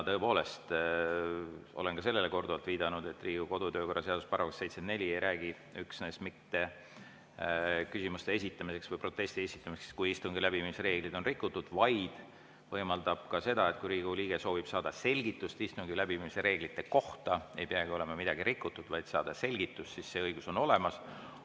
Tõepoolest, olen ka sellele korduvalt viidanud, et Riigikogu kodu‑ ja töökorra seaduse § 74 ei räägi üksnes mitte küsimuste esitamisest või protesti esitamisest, kui istungi läbiviimise reegleid on rikutud, vaid võimaldab ka seda, et kui Riigikogu liige soovib saada selgitust istungi läbiviimise reeglite kohta – ei peagi olema midagi rikutud, vaid ta soovib saada selgitust –, siis see õigus on tal olemas.